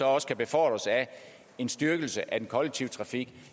også kan befordres af en styrkelse af den kollektive trafik